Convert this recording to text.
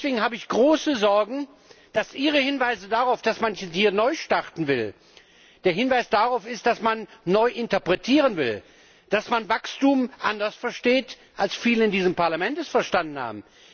Deswegen habe ich große Sorgen, dass Ihr Hinweis darauf, dass man manches hier neu starten will, der Hinweis darauf ist, dass man neu interpretieren will, dass man Wachstum anders versteht als viele in diesem Parlament es verstanden haben.